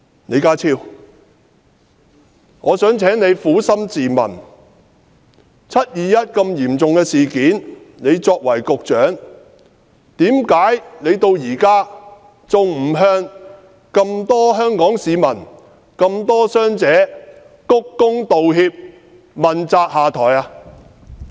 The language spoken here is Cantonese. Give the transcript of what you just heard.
李家超，我想請你撫心自問，發生"七二一"如此嚴重的事件，你作為局長，為何至今還不向眾多的香港市民及眾多的傷者鞠躬道歉，問責下台？